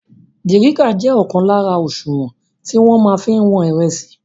Dìrícà jẹ́ ọ̀kan lára òṣùwọ̀n tí wọ́n máa fí ń wọn ìrẹsì.